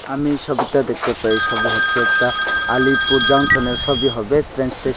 আমি এই সবিতে দেখতে পাই এই ছবি হচ্ছে একতা আলিপুর জংশনের ছবি হবে ত্রেন স্টেশ--